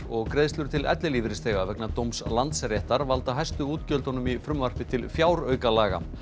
og greiðslur til ellilífeyrisþega vegna dóms Landsréttar valda hæstu útgjöldunum í frumvarpi til fjáraukalaga